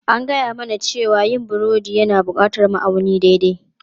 An gaya mana cewa yin burodi yana buƙatar ma'auni daidai.